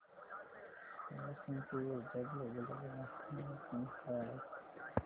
मला सांग की ऊर्जा ग्लोबल चा ग्राहक निगा क्रमांक काय आहे